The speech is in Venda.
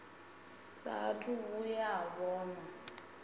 saathu u vhuya a vhonwa